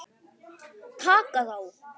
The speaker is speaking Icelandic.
Taka þá!